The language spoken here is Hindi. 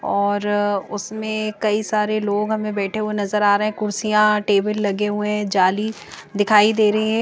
और उसमें कई सारे लोग हमें बैठे हुए नजर आ रहे हैं कुर्सियां टेबल लगे हुए जाली दिखाई दे रहे हैं।